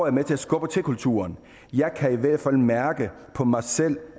er med til at skubbe til kulturen jeg kan i hvert fald mærke på mig selv